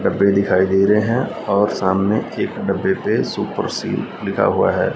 डब्बे दिखाई दे रहे हैं और सामने एक डब्बे पे सुपर सील लिखा हुआ है।